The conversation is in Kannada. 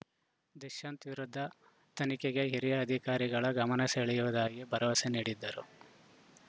ದುಷ್ಯಂತ್‌ ವಿರುದ್ಧ ತನಿಖೆಗೆ ಹಿರಿಯ ಅಧಿಕಾರಿಗಳ ಗಮನ ಸೆಳೆಯುವುದಾಗಿ ಭರವಸೆ ನೀಡಿದರು